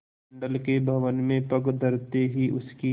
मंडल के भवन में पग धरते ही उसकी